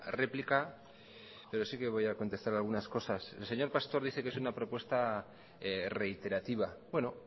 réplica pero sí que voy a contestar algunas cosas el señor pastor dice que es una propuesta reiterativa bueno